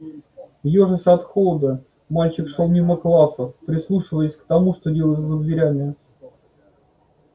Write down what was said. ёжась от холода мальчик шёл мимо классов прислушиваясь к тому что делается за дверями